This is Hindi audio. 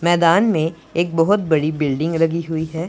मैदान में एक बहुत बड़ी बिल्डिंग लगी हुई है।